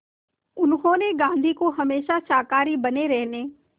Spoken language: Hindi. उन्होंने गांधी को हमेशा शाकाहारी बने रहने